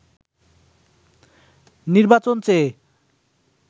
নির্বাচন চেয়ে